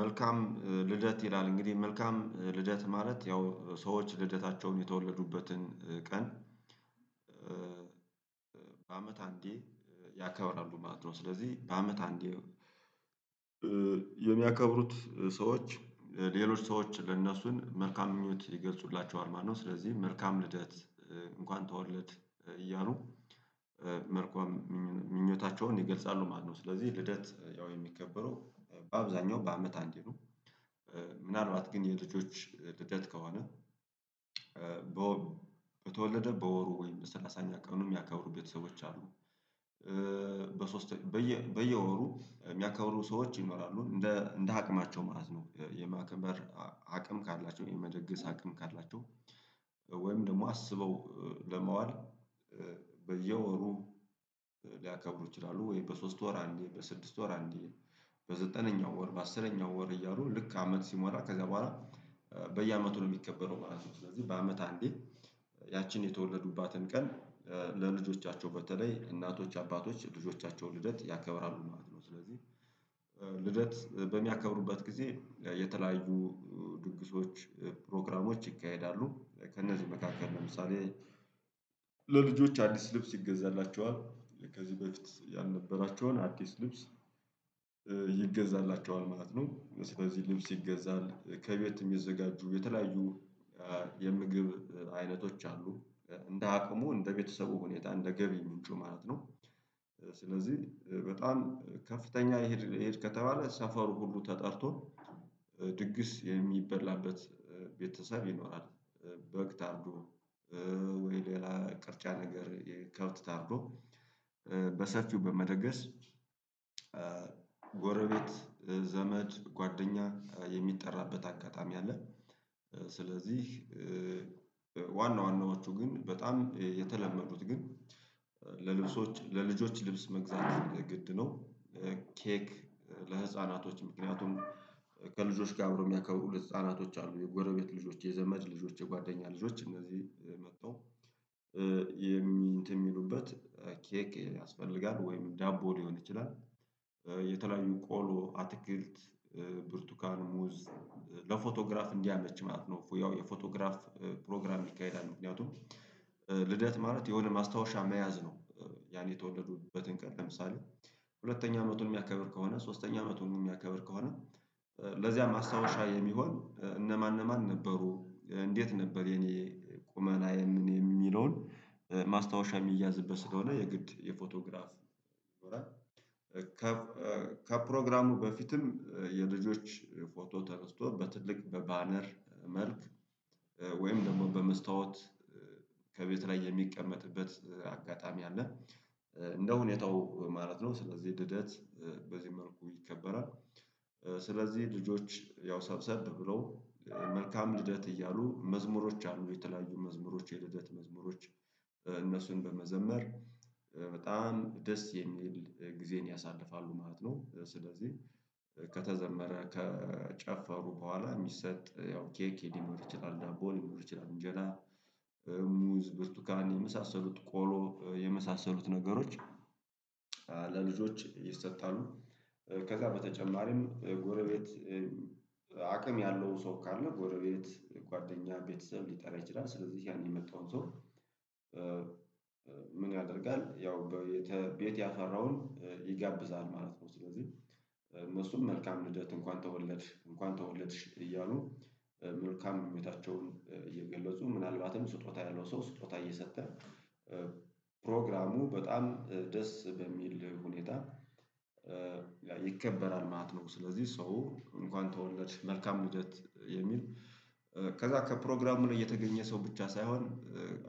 መልካም ልደት ይላል እንግዲህ መልካም ልደት ማለት ያው ሰዎች ልደታቸውን የተወለዱበትን ቀን በአመት አንዴ ያከበራሉ ማለት ነው። ስለዚህ በአመት አንዴ የሚያከብሩት ሰዎች ሌሎች ሰዎች ለእነሱን መልካም ምኞት ይገልጹላቸዋል ማለት ነው። ስለዚህ መልካም ልደት እንኳን ተወለድ እያሉ መልካም ምኞታቸውን ይገልጻሉ ማለት ነው። ስለዚህ ልደት ያው የሚከበረው በአብዛኛው በአመት አንዴ ነው። ምናልባት ግን የልጆች ልደት ከሆነ በወሩ በተወለደ በወሩ ወይም በሰላሳኛ ቀኑን የሚያከብሩ ቤተሰቦች አሉ። በሶስተኛ በየ በየወሩ የሚያከብሩ ሰዎች ይኖራሉ እንደ እንደ አቅማቸው ማለት ነው። የማክበር አቅም ካላቸው የመደገስ አቅም ካላቸው ወይም ደግሞ አስበው ለማዋል በየወሩ ሊያከብሩ ይችላሉ። ወይ በሶስት ወር አንዴ በስድስት ወር አንዴ በዘጠነኛው ወር በአስረኛው ወር እያሉ ልክ አመት ሲሞላ ከዛ በኋላ በየአመቱ ነው የሚከበረው ማለት ነው። ስለዚህ በአመት አንዴ ያቺን የተወለዱባትን ቀን ለልጆቻቸው በተለይ እናቶች አባቶች ልጆቻቸው ልደት ያከብራሉ ማለት ነው። ስለዚህ ልደት በሚያከብሩበት ጊዜ የተለያዩ ድግሶች ፕሮግራሞች ይካሄዳሉ ከእነዚህ መካከል ለምሳሌ ለልጆች አንዲስ ልብስ ይገዛላቸዋል ከዚህ በፊት ያልነበራቸውን አዲስ ልብስ ይገዛላቸዋል ማለት ነው። ስለዚህ ልብስ ይገዛል ከቤት የሚዘጋጁ የተለያዩ አሉ የምግብ አይነቶች አሉ እንደ አቅሙ እንደ ቤተሰቡ ሁኔታ እንደ ገቢ ምንጩ ማለት ነው። ስለዚህ በጣም ከፍተኛ ይሄድ ከተባለ ሰፈሩ ሁሉ ተጠርቶ ድግስ የሚበላበት ቤተሰብ ይኖራል በግ ታርዶ ወይ ሌላ ቅርጫ ነገር ከብት ታርዶ በሰፊው በመደገስ ጎረቤት ዘመድ ጓደኛ የሚጠራበት አጋጣሚ አለ። ስለዚህ ዋና ዋናዎቹ ግን በጣም የተለመዱት ግን ለልብሶች ለልጆች ልብስ መግዛት ግድ ነው። ኬክ ለህፃናቶች ምክንያቱም ከልጆች ጋር አብሮ የሚያከብሩ ህፃናቶች አሉ የጎረቤት ልጆች የዘመድ ልጆች የጓደኛ ልጆች እነዚህ መጥተው የሚ እነንት ሚሉበት ኬክ ያስፈልጋል ወይም ዳቦ ሊሆን ይችላል። የተለያዩ ቆሎ አትክልት ብርቱካን ሙዝ ለፎቶግራፍ እንዲያመች ማለት ነው ያው የፎቶግራፍ ፕሮግራም ይካሄዳል ምክንያቱም ልደት ማለት የሆነ ማስታወሻ መያዝ ነው። ያን የተወለዱበትን ቀን ለምሳሌ ሁለተኛ አመቱን የሚያከብር ከሆነ ሶስተኛ አመቱን የሚያከብር ከሆነ ለዚያ ማስታወሻ የሚሆን እነማን እነማን ነበሩ እንዴት ነበር የኔ ቁመናዬ ምን የሚለውን ማስታወሻ የሚያዝበት ስለሆነ የግድ። የፎቶግራፍ ከፕሮግራሙ በፊትም የልጆች ፎቶ ተነስቶ በትልቅ በባነር መልክ ወይም ደግሞ በመስታወት ከቤት ላይ የሚቀመጥበት አጋጣሚ አለ። እንደ ሁኔታው ማለት ነው ስለዚህ ልደት በዚህ መልኩ ይከበራል። ስለዚህ ልጆች ያው ሰብሰብ ብለው መልካም ልደት እያሉ መዝሙሮች አሉ የተለያዩ መዝሙሮች የልደት መዝሙሮች እነሱን በመዘመር በጣም ደስ የሚል ጊዜን ያሳልፋሉ ማለት ነው። ስለዚህ ከተዘመረ ከጨፈሩ በኋላ የሚሰጥ ያው ኬክ ሊኖር ይችላል ዳቦ ሊኖር ይችላል እንጀራ ሙዝ ብርቱካን የመሳሰሉት ቆሎ የመሳሰሉት ነገሮች አሉ። ለልጆች ይሰጣሉ ከዛ በተጨማሪም ጎረቤት አቅም ያለው ሰው ካለ ጎረቤት ጓደኛ ቤተሰብ ሊጠራ ይችላል። ስለዚህ ያን የመጣውን ሰው ምን ያደርጋል ያው ቤት ያፈራውን ይጋብዛል ማለት ነው። ስለዚህ እነሱም መልካም ልደት እንኳን ተወለድሽ እንኳን ተወለድሽ እያሉ መልካም ምኞታቸውን እየገለጹ ምናልባትም ስጦታ ያለው ሰው ስጦታ እየሰጠ ፕሮግራሙ በጣም ደስ በሚል ሁኔታ ይከበራል። ማለት ነው። ስለዚህ ሰው እንኳን ተወለድሽ መልካም ልደት የሚል ከዛ ከፕሮግራሙ ላይ የተገኘ ሰው ብቻ ሳይሆን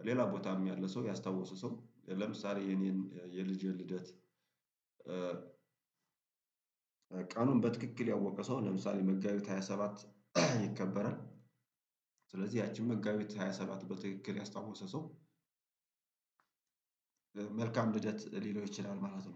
ሌላ ቦታም ያለ ሰው ያስታወሰ ሰው ለምሳሌ የኔን የልጄን ልደት ቀኑን በትክክል ያወቀ ሰው ለምሳሌ መጋቢት ሃያ ሰባት ይከበራል። ስለዚህ ያቺን መጋቢት ሃያ ሰባት በትክክል ያስታወሰ ሰው መልካም ልደት ሊለው ይችላል። ማለት ነው